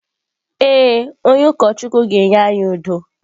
Ee, onye ụkọchukwu ga-enye anyị udo.